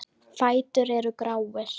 Fætur eru gráir.